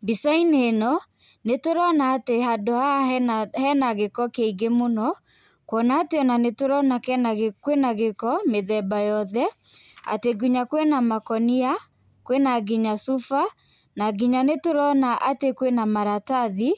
Mbica inĩ ĩno nĩtũrona atĩ handũ haha hena gĩko kĩingĩ mũno , kũona atĩ nĩtũrona gĩko mĩthemba yothe, atĩ nginya kwĩna makũnia kwĩna nginya cũba na nginya atĩ nĩtũrona kwĩna maratathĩ